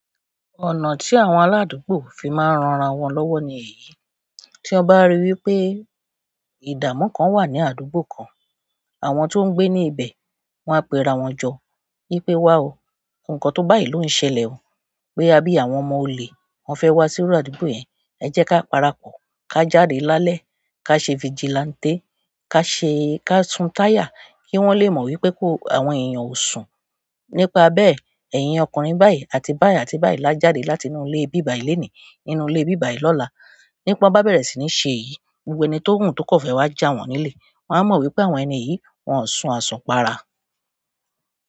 Ọ̀nà tí àwọn aládùúgbò fi máa ń ranra wọn lọ́wọ́ ni èyí. Tí ọ bá rí wípé idamu kan wa ni àdúgbò kan àwọn tó ń gbé ní ibẹ̀, wọn á pe ra wọn jọ wípé wá o, nǹkan tó bá yìí ló ń ṣẹlẹ̀ o, pé a bí àwọn ọmọ olè, wọ́n fẹ́ wá sí iru àdúgbò yẹn. Ẹ jẹ́ ká parapọ̀, ká jáde lálẹ́, ká ṣe vigilante, ká ṣe, ká sun táyà kí wọ́n lè mọ̀ wípé ko, àwọn èèyàn ò sùn. Nípa bẹ́ẹ̀, ẹ̀yin ọkùnrin báyìí àti báyìí àti báyìí la jáde láti inú ilé ibí bàyìí lónìí, nínú ilé ibí bàyìí lọ́la. Nígbà tí wọ́n bá bẹ̀rẹ̀ sí ní ṣe èyí, gbogbo ẹni tó wù tó kò fẹ́ wá jà wọ́n nilẹ̀, wọn á mọ̀ wípé àwọn ẹni yìí wọn ò sùn àsùnpara.